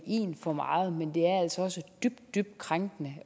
én for meget men det er altså også dybt dybt krænkende